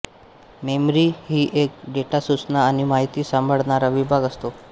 memory ही एक data सूचना आणि माहिती सांभाळणारा विभाग असतो